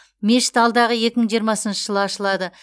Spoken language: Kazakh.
мешіт алдағы екі мың жиырмасыншы жылы ашылады